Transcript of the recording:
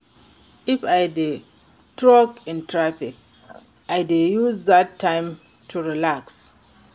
If I dey stuck in traffic, I dey use that time to relax.